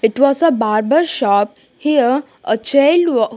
It was a barber shop here a child wa --